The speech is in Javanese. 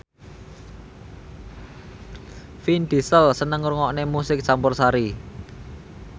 Vin Diesel seneng ngrungokne musik campursari